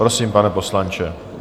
Prosím, pane poslanče.